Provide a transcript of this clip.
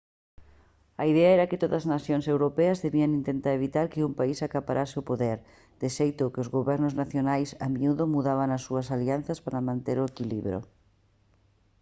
a idea era que todas as nacións europeas debían intentar evitar que un país acaparase o poder de xeito que os gobernos nacionais a miúdo mudaban as súas alianzas para manter o equilibrio